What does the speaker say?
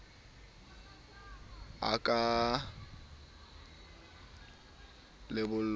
ha a ka ya lebollong